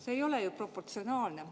See ei ole ju proportsionaalne.